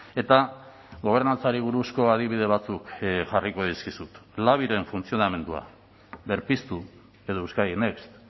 eta gobernantzari buruzko adibide batzuk jarriko dizkizut labiren funtzionamendua berpiztu edo euskadi next